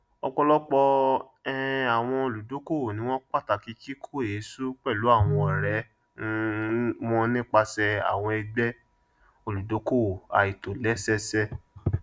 ọpọlọpọ um àwọn olùdókòwò ni wọn pàtàkì kíkó èésú pẹlú àwọn ọrẹ um wọn nípasẹ àwọn ẹgbẹ olùdókòwò àìtòlẹsẹẹsẹ